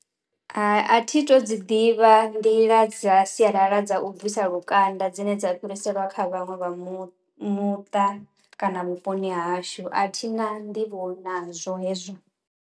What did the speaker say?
Hai a thi to dzi ḓivha nḓila dza sialala dza u bvisa lukanda dzine dza fhiriselwa kha vhaṅwe vha mu muṱa kana vhuponi hashu. A thina nḓivho nazwo hezwo.